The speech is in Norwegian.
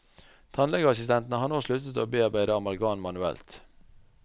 Tannlegeassistentene har nå sluttet å bearbeide amalgam manuelt.